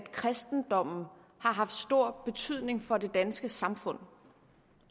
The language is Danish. at kristendommen har haft stor betydning for det danske samfund